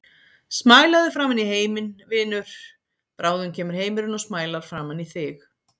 Smælaðu framan í heiminn, vinur, bráðum kemur heimurinn og smælar framan í þig.